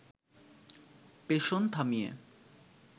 পেষণ থামিয়ে